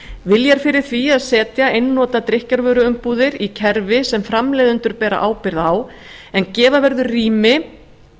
vilji er fyrir því að setja einnota drykkjarvöruumbúðir í kerfi sem framleiðendur bera ábyrgð á en gefa verður